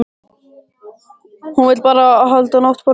Hún vill bara halda náttborðinu sínu.